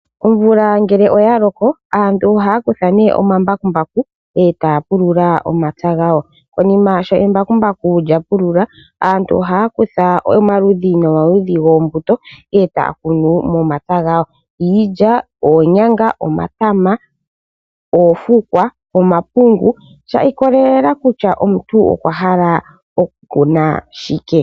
Omvula ngele oya loko, aantu ohaya kutha omambakumbaku e ta ya pulula omapya gawo. Konima shampa embakumbaku lya pulula, aantu ohaya kutha oombuto dhomaludhi e ta ya kunu momapya gawo ngaashi iilya, oonyanga, omatama, oofukwa nomapungu shi ikolelela kutya omuntu okwa hala oku kuna shike.